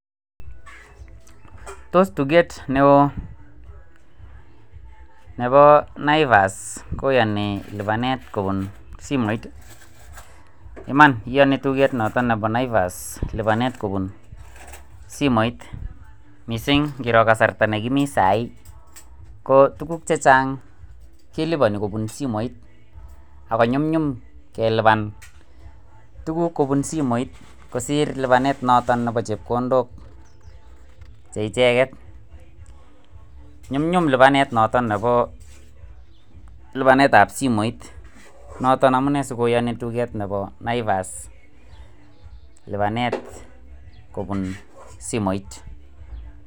Tos tugeet neo nebo Naivas koyoni lipanet kobun simoit, iman iyoni tugeet noton nebo Naivas lipanet kobun simoit, missing en kasarta nekimi sai ko tuguk chechang' keliponi kobun simoit ak konyumyum kelipan tuguk kobun simoit kosiir lipanet noton nebo chepkondok cheicheget, nyumnyum lipanet noton nebo lipanet simoit noton amune sikoyoni tugeet nebo Naivas lipanet kobun simoit.